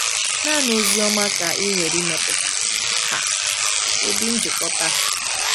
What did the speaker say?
Naanị Oziọma ka nwere ike ịmepụta um ụdị njikọta a.